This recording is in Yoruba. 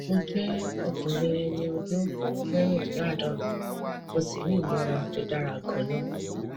mo jẹ ọkùnrin ẹni ọdún mẹrìndínláàádọrin mo sì ní ìlera tó dára ganan